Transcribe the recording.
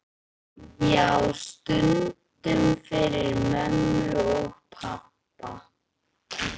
Já, stundum fyrir mömmu og pabba.